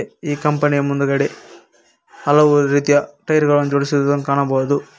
ಈ ಕಂಪನಿ ಯ ಮುಂದುಗಡೆ ಹಲವು ರೀತಿಯ ಟೈರ್ ಗಳನು ಜೋಡಿಸಿರುವುದನ್ನು ಕಾಣಬಹುದು.